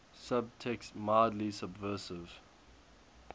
subtext mildly subversive